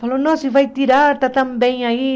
Falou, nó você vai tirar, está tão bem aí.